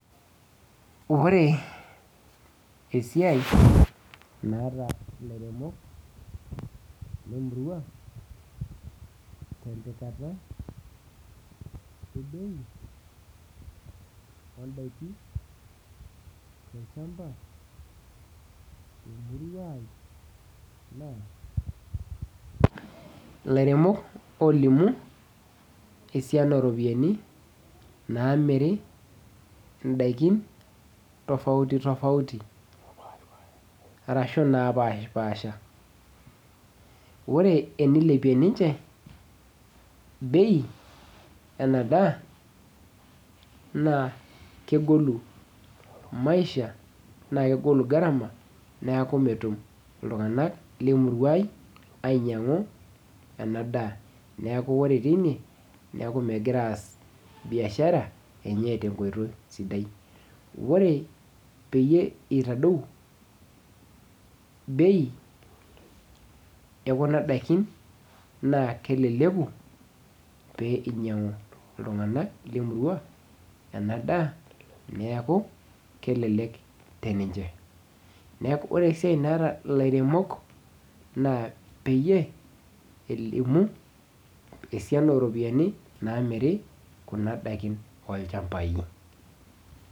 Ore esiai naata ilairemok lemurua, tempikata ebei odaiki tolchamba temurua ai, naa ilairemok olimu esiana oropiyiani namiri idaikin, tofauti tofauti. Arashu napashipasha. Ore enilepie ninche bei enadaa, naa kegolu maisha na kegolu gharama, neeku metum iltung'anak lemurua ai ainyang'u enadaa. Neeku ore teine, neeku megira aas biashara enye tenkoitoi sidai. Ore peyie itadou bei ekuna daikin, naa keleleku pee inyang'u iltung'anak lemurua enadaa neeku kelelek teninche. Neeku ore esiai naata ilairemok naa peyie elimu esiana oropiyiani naamiri kuna daikin olchambai.